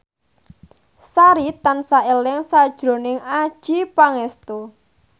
Sari tansah eling sakjroning Adjie Pangestu